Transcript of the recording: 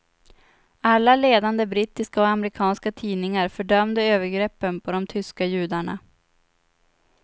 Alla ledande brittiska och amerikanska tidningar fördömde övergreppen på de tyska judarna.